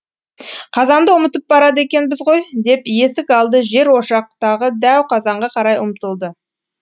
қазанды ұмытып барады екенбіз ғой деп есік алды жер ошақтағы дәу қазанға қарай ұмтылды